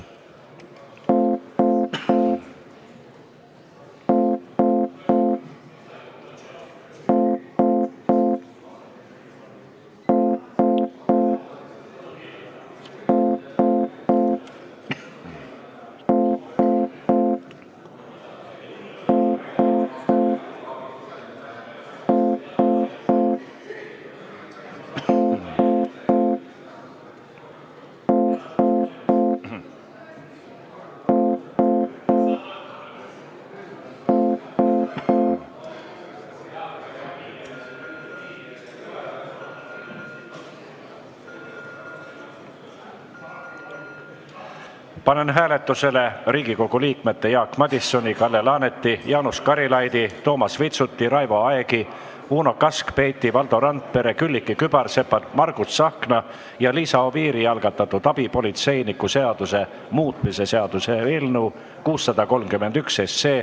Panen hääletusele Riigikogu liikmete Jaak Madisoni, Kalle Laaneti, Jaanus Karilaidi, Toomas Vitsuti, Raivo Aegi, Uno Kaskpeiti, Valdo Randpere, Külliki Kübarsepa, Margus Tsahkna ja Liisa Oviiri algatatud abipolitseiniku seaduse muutmise seaduse eelnõu 631.